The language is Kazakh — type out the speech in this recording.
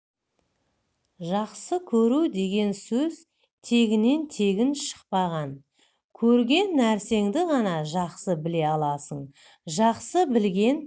жақсы көру деген сөз тегіннен тегін шықпаған көрген нәрсеңді ғана жақсы біле аласың жақсы білген